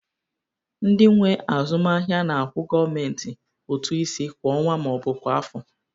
Ndị nwe azụmaahịa na-akwụ gọọmentị ụtụ isi kwa ọnwa ma ọ bụ kwa afọ